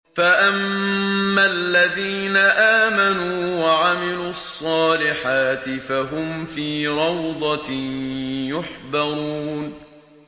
فَأَمَّا الَّذِينَ آمَنُوا وَعَمِلُوا الصَّالِحَاتِ فَهُمْ فِي رَوْضَةٍ يُحْبَرُونَ